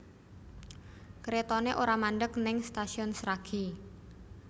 Kretone ora mandheg ning Stasiun Sragi